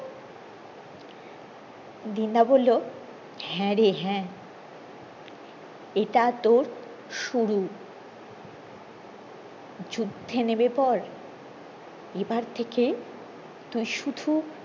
দিনুদা বললো হ্যাঁ রে হ্যাঁ ইটা তোর শুরু যুদ্ধে নেমে পর এবার থেকে তুই শুধু